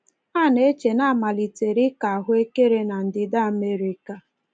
A na-eche na a malitere ịkọ ahụekere na Ndịda Amerịka.